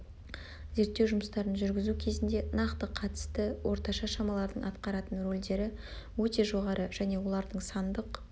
зерттеу жұмыстарын жүргізу кезінде нақты қатысты орташа шамалардың атқаратын рөлдері өте жоғары және олардың сандық